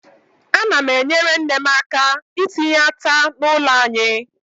Ana m enyere nne m aka itinye ata n' ụlọ anyị.